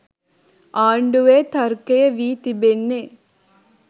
ආණ්ඩුවේ තර්කය වී තිබෙන්නේ.